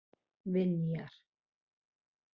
Vinjar